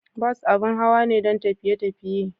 Bus abin hawa ne don tafiye tafiye.